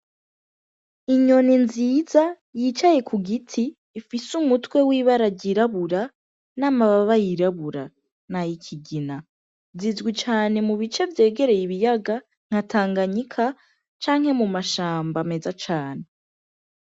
Inyoni nziza, yicaye kugiti, ifise umutwe wibara ryirabura, namababa yirabura, nayikigina. Zizwi cane mubice vyegereye ibiyaga, nka Tanganyika, canke mumashamba meza cane.